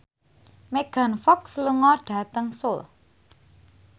Megan Fox lunga dhateng Seoul